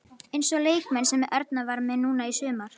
Eins og leikmenn sem Erna var með núna í sumar.